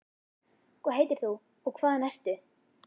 hvað heitir þú og hvaðan ertu?